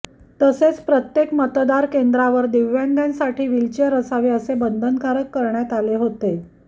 तसेच प्रत्येक मतदान केंद्रावर दिव्यांगांसाठी व्हिलचेअर असावे असे बंधनकारक करण्यात आले होते